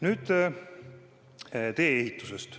Nüüd tee-ehitusest.